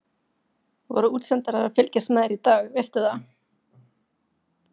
Voru útsendarar að fylgjast með þér í dag, veistu það?